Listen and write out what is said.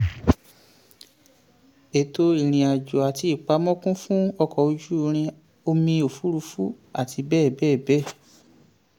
ètò ìrìnàjò àti ìpamọ́ kún fún ọkọ̀ ojú irin omi òfuurufú àti bẹ́ẹ̀ bẹ́ẹ̀. bẹ́ẹ̀.